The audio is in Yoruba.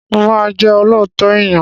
Mo máa jẹ́ olóòótọ́ èyàn.